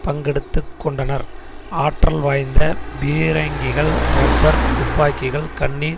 பங்கெடுத்து கொண்டனர் ஆற்றல் வாய்ந்த பீரங்கிகள் ரப்பர் துப்பாக்கிகள் கண்ணீர்